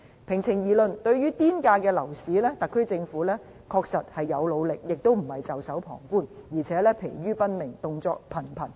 平情而論，對於"癲價"樓市，特區政府確實有努力，並非袖手旁觀，而且可說是疲於奔命，動作頻頻。